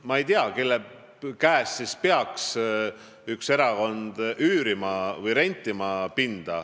Ma ei tea, kelle käest peaks üks erakond siis pinda üürima või rentima.